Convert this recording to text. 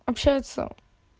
общается